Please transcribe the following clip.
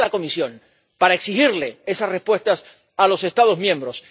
¿Qué espera la Comisión para exigirles esas respuestas a los Estados miembros?